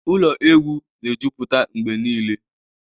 Ụlọ egwu na-ejupụta mgbe niile